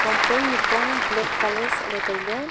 pong pant nipong black colour sohle taile.